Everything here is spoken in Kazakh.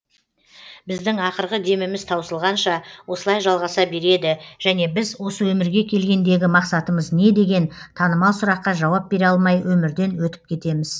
біздің ақырғы деміміз таусылғанша осылай жалғаса береді және біз осы өмірге келгендегі мақсатымыз не деген танымал сұраққа жауап бере алмай өмірден өтіп кетеміз